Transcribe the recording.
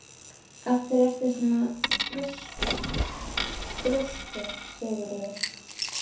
Af hverju ertu svona þrjóskur, Sigurður?